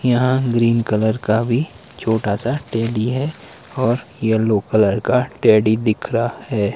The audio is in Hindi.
यहां ग्रीन कलर का भी छोटासा टैडी है और येलो कलर का टैडी दिख रहा है।